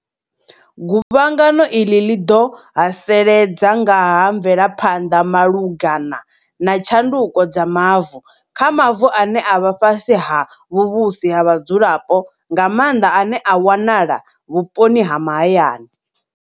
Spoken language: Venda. Guvhangano iḽi ḽi ḓo haseledza nga ha mvelaphanḓa malugana na tshanduko dza mavu, kha mavu ane a vha fhasi ha vhuvhusi ha vhadzulapo, nga maanḓa ane a wanala vhu poni ha mahayani.